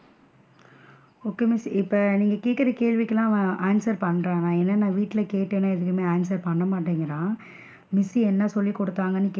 Okay miss இப்ப நீங்க கேக்குற கேள்விக்கெல்லாம் அவன் answer பண்றானா ஏன்னா? நான் வீட்ல கேட்டேனா எதுமே answer பண்ண மாட்டேன்குறான், miss என்ன சொல்லிகுடுதாங்கன்னு கேட்டாலும்,